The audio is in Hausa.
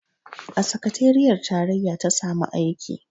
A sakateriyar tarayya ta samu aiki